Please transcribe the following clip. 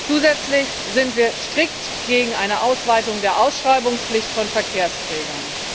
Zusätzlich sind wir strikt gegen eine Ausweitung der Ausschreibungspflicht von Verkehrsträgern.